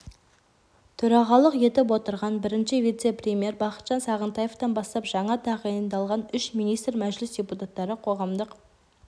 төрағалық етіп отырған бірінші вице-премьер бақытжан сағынтаевтан бастап жаңа тағайындалған үш министр мәжіліс депутаттары қоғамдық